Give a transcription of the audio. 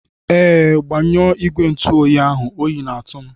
Ee, gbanyụọ igwe ntụ oyi ahụ oyi na-atụ m.